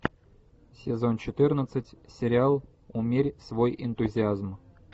сезон четырнадцать сериал умерь свой энтузиазм